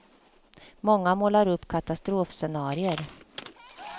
Många målar upp katastrofscenarier.